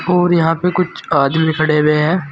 और यहां पे कुछ आदमी भी खड़े हुए हैं।